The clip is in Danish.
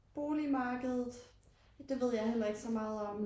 Boligmarkedet det ved jeg heller ikke så meget om